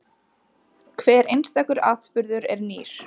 Hver einstakur atburður er nýr.